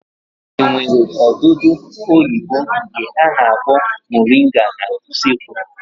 E nwere odudu oyibo nke a na-akpọ moringa n'usekwu?